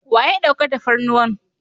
Wa ya ɗauka tafarnuwan?